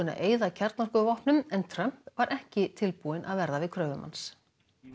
að eyða kjarnorkuvopnum en Trump var ekki tilbúinn að verða við kröfum hans